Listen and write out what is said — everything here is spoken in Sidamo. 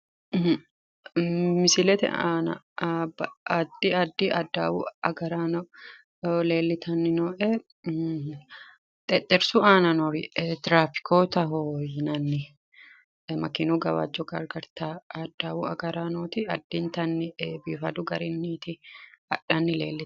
Misilete aana addi addi adawu agaraano leellitanni noo"e xexxerrisu aana noori tirafikootaho yinanniri makeenu gawajjo gargartawo adawu agaraanooti addintanni biifaduu garinniti hadhanni leelli...